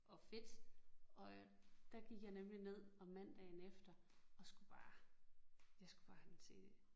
Og fedt og der gik jeg nemlig ned om mandagen efter og skulle bare jeg skulle bare have den cd